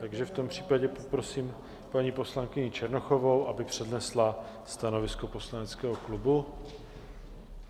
Takže v tom případě poprosím paní poslankyni Černochovou, aby přednesla stanovisko poslaneckého klubu.